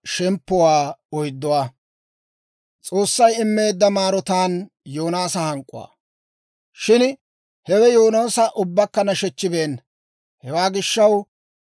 Shin hewe Yoonaasa ubbakka nashechibeenna. Hewaa gishaw, I loytsi hank'k'etteedda;